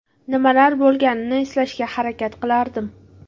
Nimalar bo‘lganini eslashga harakat qilardim.